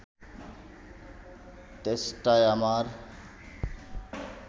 তেষ্টায় আমার